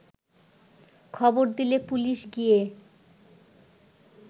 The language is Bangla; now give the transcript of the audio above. খবর দিলে পুলিশ গিয়ে